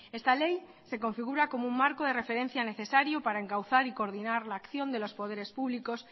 esta ley se configura como un marco de referencia necesario para encauzar y coordinar la acción de los poderes públicos